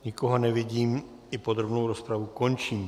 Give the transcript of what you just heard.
Nikoho nevidím, i podrobnou rozpravu končím.